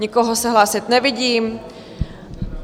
Nikoho se hlásit nevidím.